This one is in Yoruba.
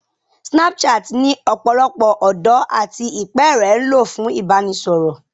Snapchat ni ọ̀pọ̀lọpọ̀ ọ̀dọ́ àti ìpẹ́ẹ̀rẹ̀ ń lò fún ìbánisọ̀rọ̀